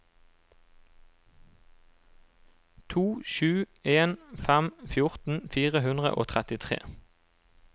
to sju en fem fjorten fire hundre og trettitre